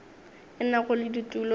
e nago le ditulo tše